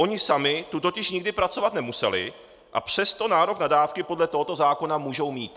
Oni sami tu totiž nikdy pracovat nemuseli, a přesto nárok na dávky podle tohoto zákona můžou mít.